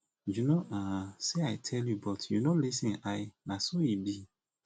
you no um say i tell you but you no lis ten l na so he dey